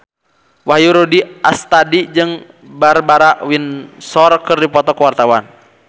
Wahyu Rudi Astadi jeung Barbara Windsor keur dipoto ku wartawan